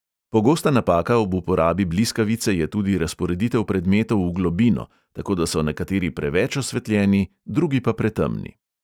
Pogosta napaka ob uporabi bliskavice je tudi razporeditev predmetov v globino, tako da so nekateri preveč osvetljeni, drugi pa pretemni.